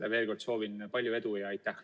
Aga veel kord: soovin palju edu!